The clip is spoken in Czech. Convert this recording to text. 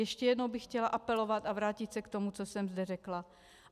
Ještě jednou bych chtěla apelovat a vrátit se k tomu, co jsem zde řekla.